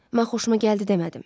Mən xoşuma gəldi demədim.